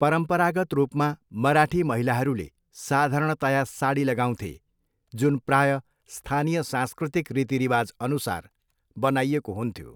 परम्परागत रूपमा, मराठी महिलाहरूले साधारणतया साडी लगाउँथे, जुन प्रायः स्थानीय सांस्कृतिक रीतिरिवाजअनुसार बनाइएको हुन्थ्यो।